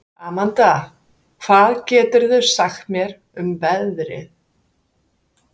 Amanda, hvað geturðu sagt mér um veðrið?